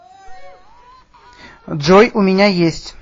джой у меня есть